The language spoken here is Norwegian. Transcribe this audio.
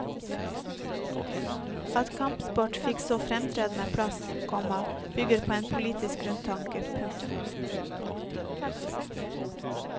At kampsport fikk så fremtredende plass, komma bygget på en politisk grunntanke. punktum